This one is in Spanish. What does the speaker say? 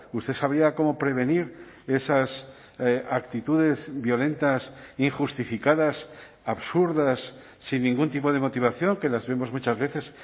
usted sabría cómo prevenir esas actitudes violentas injustificadas absurdas sin ningún tipo de motivación que las vemos muchas veces